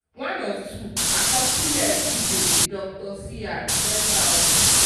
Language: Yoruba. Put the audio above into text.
one of two àkọsílẹ̀ vijay dr cr ten thousand.